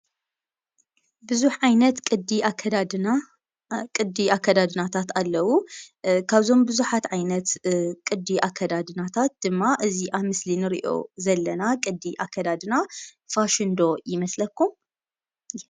ብዙሕ ዓይነት ቅዲ አከዳድና ቅዲ አከዳድናታት አለው። ካብዞም ብዙሓት ዓይነት ቅዲ አከዳድናታት ድማ እዚ አብ ምስሊ እንሪኦ ዘለና ቅዲ አከዳድና ፋሽን ዶ ይመስለኩም?